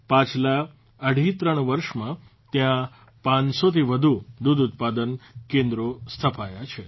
પાછલા અઢી ત્રણ વર્ષમાં ત્યાં ૫૦૦થી વધુ દૂધઉત્પાદન કેન્દ્રો સ્થપાયા છે